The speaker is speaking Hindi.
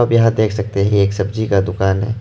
आप यहां देख सकते हैं ये एक सब्जी का दुकान है।